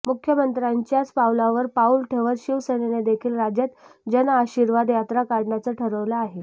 मुख्यमंत्र्यांच्याच पावलावर पाऊल ठेवत शिवसेनेनेदेखील राज्यात जनआशीर्वाद यात्रा काढण्याचं ठरवलं आहे